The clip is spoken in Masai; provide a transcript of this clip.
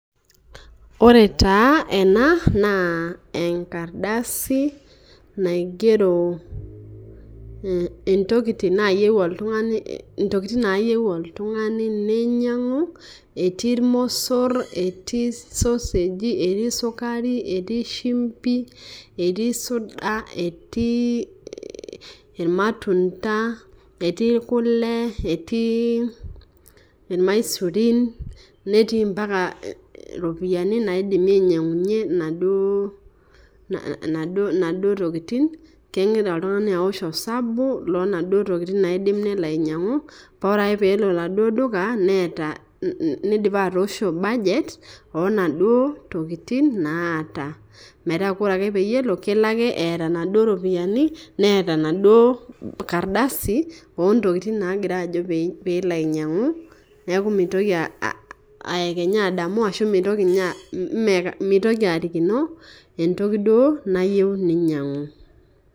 Ore taa ena naa enkardasi naigero ntokiting' naayieu oltung'ani neinyang'u, etii ormosor etii sosagi, etii sukari, etii shumpi, etii suda ,etii irmatunda, etii kule ,etii irmaisurin, netii mpaka ropiyiani naidimi ainyang'unyie naduo tokiting',kegira oltung'ani aosh osabu loonaduo tokiting' naidim nelo ainyang'u paa ore ake pee elo oladuo duka nidipa atoosho budget onaduo tokiting' naata .Metaa ore ake peyie elo kelo ake eeta naduo ropiyiani neeta enaduo kardasi ontokiting' nagira ajo pee elo ainyang'u ,neeku mitoki ayekenya adamu mitoki arikino entoki duo nayieu neinyang'u.